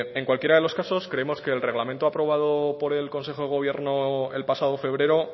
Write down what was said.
en cualquiera de los casos creemos que el reglamento aprobado por el consejo de gobierno el pasado febrero